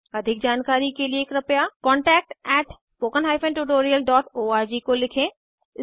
अधिक जानकारी कर लिए कृपया contactspoken tutorialorg को लिखें